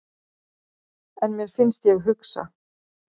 En mér finnst ég hugsa.